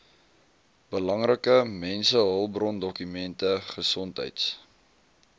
belangrike mensehulpbrondokumente gesondheids